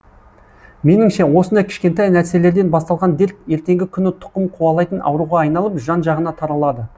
меніңше осындай кішкентай нәрселерден басталған дерт ертеңгі күні тұқым қуалайтын ауруға айналып жан жағына таралады